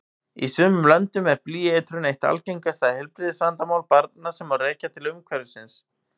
Í sumum löndum er blýeitrun eitt algengasta heilbrigðisvandamál barna sem rekja má til umhverfisins.